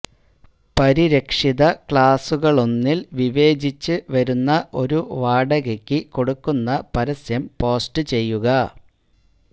പരിരക്ഷിത ക്ലാസുകളിലൊന്നിൽ വിവേചിച്ച് വരുന്ന ഒരു വാടകയ്ക്ക് കൊടുക്കുന്ന പരസ്യം പോസ്റ്റുചെയ്യുക